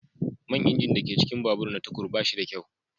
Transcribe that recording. Man injin da ke cikin babur na tukur ba shi da kyau.